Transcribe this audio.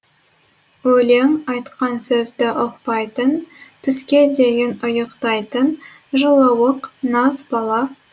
өлең айтқан сөзді ұқпайтын түске дейін ұйықтайтын жылауық нас бала туралы